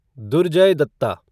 Durjoy Dutta